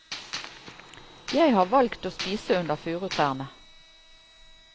Jeg har valgt å spise under furutrærne.